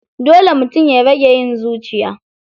Dole mutum ya rage yin zuciya.